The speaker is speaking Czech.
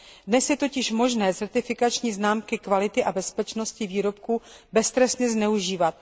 Dnes je totiž možné certifikační známky kvality a bezpečnosti výrobků beztrestně zneužívat.